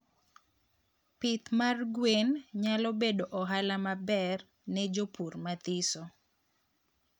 pith mar gwen nyalo bedo ohala maber ne jopur mathiso